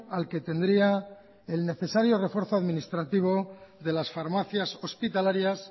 al que tendría el necesario refuerzo administrativo de las farmacias hospitalarias